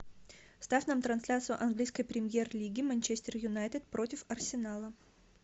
ставь нам трансляцию английской премьер лиги манчестер юнайтед против арсенала